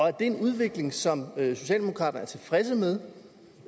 er det en udvikling som socialdemokraterne er tilfredse med